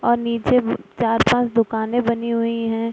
और नीचे ब चार-पांच दुकाने बनी हुई है।